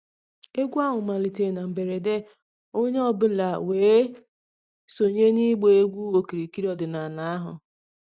Egwu ahụ malitere na mberede, onye ọ bụla wee sonye na ịgba egwu okirikiri ọdịnala ahụ.